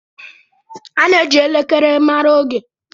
A na-eji elekere mara oge.